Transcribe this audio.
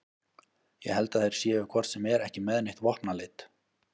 Ég held að þeir séu hvort sem er ekki með neitt vopnaleit